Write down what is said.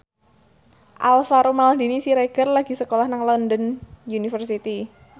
Alvaro Maldini Siregar lagi sekolah nang London University